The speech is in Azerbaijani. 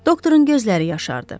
Doktorun gözləri yaşardı.